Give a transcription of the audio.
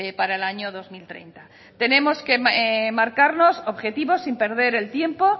para el año dos mil treinta tenemos que marcarnos objetivos sin perder el tiempo